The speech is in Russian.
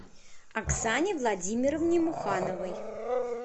оксане владимировне мухановой